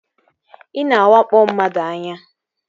Ị na-awakpo mmadụ anya